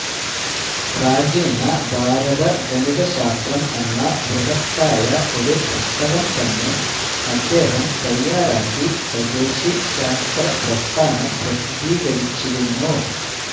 പ്രാചീന ഭാരതഗണിത ശാസ്ത്രം എന്ന ബൃഹത്തായ ഒരു പുസ്തകം തന്നെ അദ്ദേഹം തയ്യാറാക്കി സ്വദേശി ശാസ്ത്ര പ്രസ്ഥാനം പ്രസിദ്ധീകരിച്ചിരുന്നു